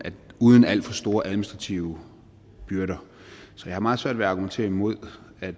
uden at alt for store administrative byrder så jeg har meget svært ved at argumentere imod at